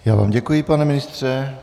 Já vám děkuji, pane ministře.